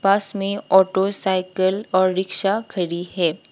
पास में auto cycle और rickshaw खड़ी है।